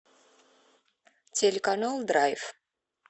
телеканал драйв